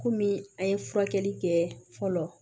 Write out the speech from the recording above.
Komi an ye furakɛli kɛ fɔlɔ